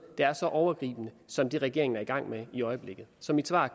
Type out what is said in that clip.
der er så overgribende som det regeringen er i gang med i øjeblikket så mit svar